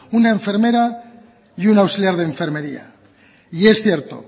una enfermera y una auxiliar de enfermería y es cierto